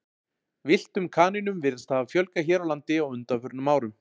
villtum kanínum virðist hafa fjölgað hér á landi á undanförnum árum